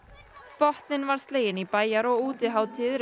botninn var sleginn í bæjar og útihátíðir